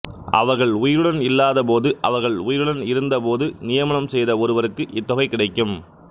அவர்கள் உயிருடன் இல்லாதபோது அவர்கள் உயிருடன் இருந்தபோது நியமனம் செய்த ஒருவருக்கு இத்தொகை கிடைக்கும்